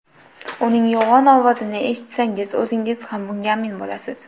Uning yo‘g‘on ovozini eshitsangiz, o‘zingiz ham bunga amin bo‘lasiz.